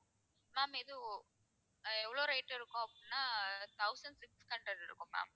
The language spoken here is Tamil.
ma'am இது ஒ~ அஹ் எவ்ளோ rate இருக்கும் அப்படின்னா thousand six hundred இருக்கும் ma'am